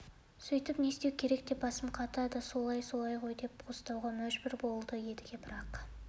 сөйтіп не істеу керек деп басым қатады солайы солай ғой деп қостауға мәжбүр болды едіге бірақ